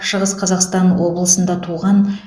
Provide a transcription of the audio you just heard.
шығыс қазақстан облысында туған